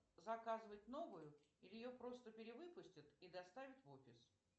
заказывать новую или ее просто перевыпустят и доставят в офис